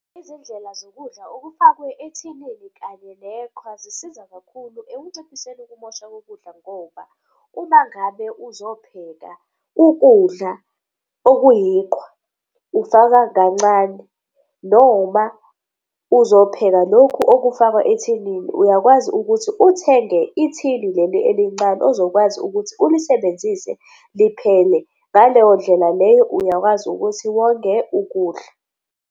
Izindlela zokudla okufakwe ethinini kanye neqhwa zisiza kakhulu ekunciphiseni ukumosha kokudla ngoba uma ngabe uzopheka ukudla okuyiqhwa, ufaka kancane. Noma uzopheka lokhu okufakwa ethinini uyakwazi ukuthi uthenge ithini leli elincane ozokwazi ukuthi ulisebenzise liphele, ngaleyo ndlela leyo uyakwazi ukuthi wonge ukudla.